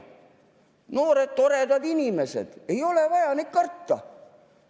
Noored toredad inimesed, ei ole vaja neid karta.